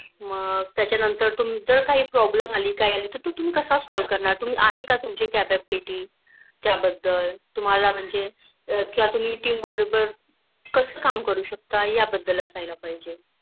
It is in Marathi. मग त्याच्या नंतर जर तुम्हाला काही Problem आला कि काय अली तर तुम्ही कस Solve करणार तुम्ही आहे का तुमची Capability त्या बद्दल तुम्हाला म्हणजे किंवा Team बरोबर कास काम करू शकता या बद्दल असायला पहिजे